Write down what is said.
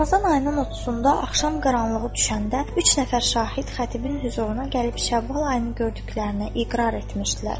Ramazan ayının 30-da axşam qaranlığı düşəndə üç nəfər şahid xətibin hüzuruna gəlib Şəvval ayını gördüklərinə iqrar etmişdilər.